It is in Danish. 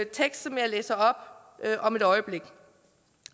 tekst som jeg læser op om et øjeblik